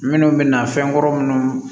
Minnu bɛna fɛn kɔrɔ minnu